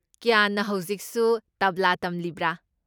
ꯀ꯭ꯌꯥꯟꯅ ꯍꯧꯖꯤꯛꯁꯨ ꯇꯕ꯭ꯂꯥ ꯇꯝꯂꯤꯕ꯭ꯔꯥ?